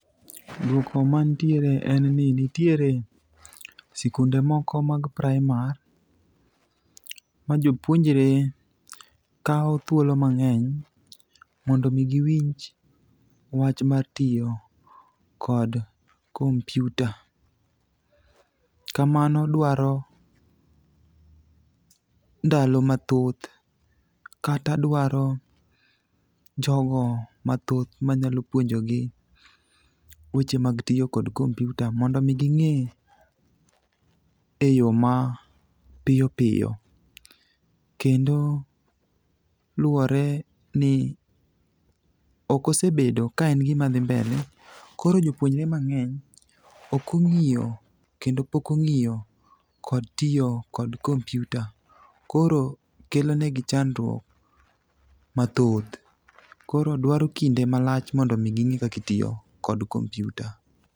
Dwoko mantiere ne ni nitiere sikunde moko mag primar ma jopuonjre kawo thuolo mang'eny mondo omi giwinj wach mar tiyo kod kompyuta. Kamano dwaro ndalo mathoth kata dwaro jogo mathoth manyalo puonjogi weche mag tiyo kod kompyuta mondo omi ging'e e yo mapiyo piyo, kendo luwore ni ok osebedo ka en gima dhi mbele, koro joupuonjre mang'eny ok ong'iyo kendo pok ong'iyo kod tiyo kod kompyuta, koro kelonegi chandruok mathoth. Koro dwaro kinde malach mondo omi ging'e kaka itiyo kod kompyuta.